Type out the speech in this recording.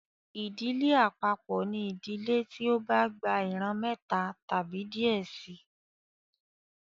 Ìdílé àpapọ ní ìdílé tí o bà gbà ìran méta tàbí díẹ síi